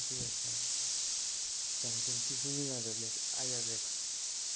интересно там всем тишины надо блять а я блять